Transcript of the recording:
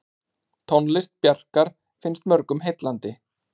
Tónlist Bjarkar finnst mörgum heillandi.